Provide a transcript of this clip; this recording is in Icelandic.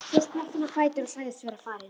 Svo spratt hann á fætur og sagðist vera farinn.